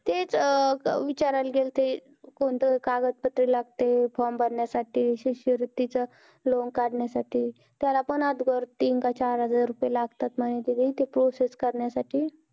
तेच अं विचारायला गेलते कोणतं कागदपत्रं लागतंय form भरण्यासाठी, शिष्यवृत्तीचं loan काढण्यासाठी. त्याला पण तीन का चार हजार रुपये लागतात म्हणे दीदी ती process करण्यासाठी.